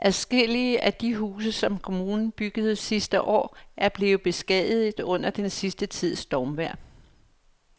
Adskillige af de huse, som kommunen byggede sidste år, er blevet beskadiget under den sidste tids stormvejr.